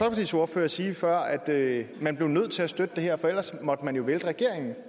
ordfører sige før at man blev nødt til at støtte det her for ellers måtte man jo vælte regeringen